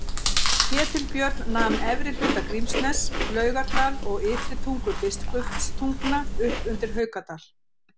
Ketilbjörn nam efri hluta Grímsness, Laugardal og Ytri tungu Biskupstungna upp undir Haukadal.